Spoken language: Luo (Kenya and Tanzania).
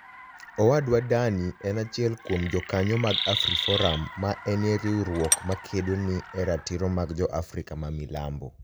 Owadwa Dani eni achiel kuom jokaniyo mag Afriforum, ma eni riwruok ma kedo ni e ratiro mag Jo - Afrika ma Milambo.